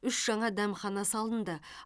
үш жаңа дәмхана салынды